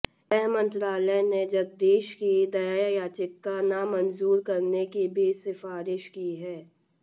गृह मंत्रालय ने जगदीश की दया याचिका नामंजूर करने की भी सिफारिश की है